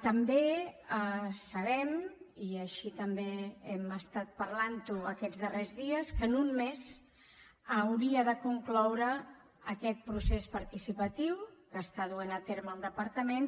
també sabem i així també hem estat parlant ho aquests darrers dies que en un mes hauria de concloure aquest procés participatiu que està duent a terme el departament